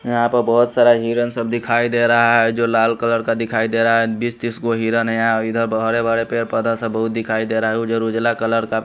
यहां पर बहुत सारा हिरण सब दिखाई दे रहा है जो लाल कलर का दिखाई दे रहा है बीस तीस को हिरन है इधर बड़े बड़े पदा से बहुत दिखाई दे रहा है उधर उजला कलर का।